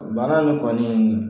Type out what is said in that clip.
Baara nin kɔni